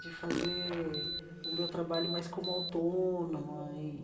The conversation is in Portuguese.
de fazer o meu trabalho mais como autônoma e.